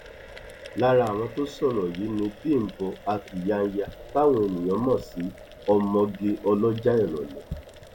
lára àwọn tó sọrọ yìí ni bímbọ a kyanyanya táwọn èèyàn mọ sí ọmọge ọlọjà ìrọlẹ